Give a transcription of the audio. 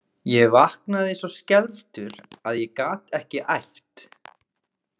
Ég vaknaði svo skelfdur að ég gat ekki æpt.